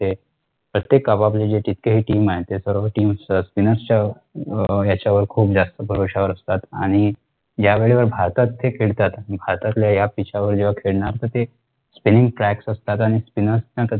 प्रत्येक आपआपली जी team हाय ते सर्व team spinner च्या अं ह्याच्यावर खुप जास्त भरवश्या वर असतात आणि यावेळेला भारतात ते खेळतात भारतातल्या या pitch च्या वर जेव्हा खळणार तर ते spining flat असतात आणि spinner ना